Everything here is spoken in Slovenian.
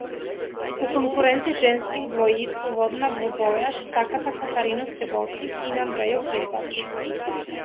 V konkurenci ženskih dvojic uvodna dvoboja še čakata Katarino Srebotnik in Andrejo Klepač.